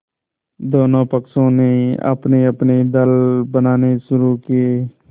दोनों पक्षों ने अपनेअपने दल बनाने शुरू किये